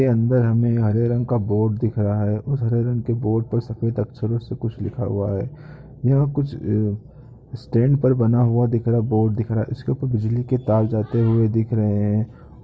उसके अंदर हमें हरे रंग का बोर्ड दिख रहा है उस हरे रंग के बोर्ड पर सेफद अक्षरो से कुछ लिखा हुआ है यहाँ कुछ स्टैंड पर बना हुआ दिख रहा है बोर्ड दिख रहा है उसके ऊपर बिजली के तार जाते हुए दिख रहे है।